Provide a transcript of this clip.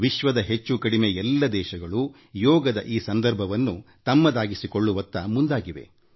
ವಿಶ್ವದ ಬಹುತೇಕ ಎಲ್ಲ ದೇಶಗಳೂ ಯೋಗದಿನದ ಈ ಸಂದರ್ಭವನ್ನು ತಮ್ಮದಾಗಿಸಿಕೊಳ್ಳುವತ್ತ ಸಾಗಿದ್ದವು